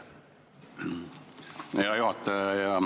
Hea juhataja!